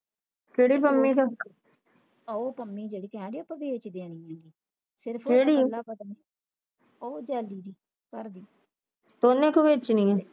ਹੋ ਪੰਮੀ ਜਿਹੜੀ ਕਿਹੜੀ ਏ ਆਪਾ ਵੇਚ ਦੇਣੀ ਆ ਗਈ ਹੋ ਜਾਦੂ ਦੀ ਘਰ ਦੀ